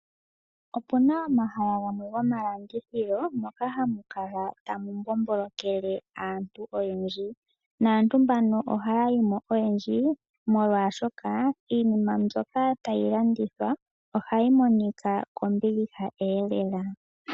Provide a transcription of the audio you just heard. Opuna omahala gamwe gomalandithilo moka hamu kala tamu mbombolokele aantu oyendji ,naantu mbano ohaya yimo oyendji molwashoka iinima mbyoka tayi landithwa ohayi monika kombiliha eelela.